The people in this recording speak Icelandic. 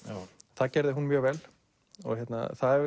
það gerði hún mjög vel og